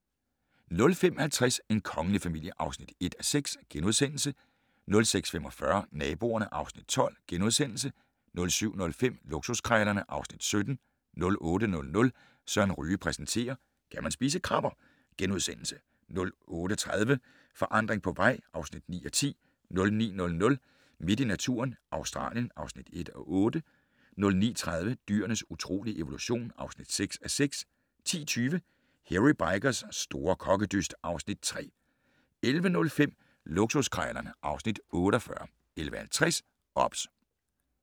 05:50: En kongelig familie (1:6)* 06:45: Naboerne (Afs. 12)* 07:05: Luksuskrejlerne (Afs. 17) 08:00: Søren Ryge præsenterer: Kan man spise krabber? * 08:30: Forandring på vej (9:10) 09:00: Midt i naturen - Australien (1:8) 09:30: Dyrenes utrolige evolution (6:6) 10:20: Hairy Bikers' store kokkedyst (Afs. 3) 11:05: Luksuskrejlerne (Afs. 48) 11:50: OBS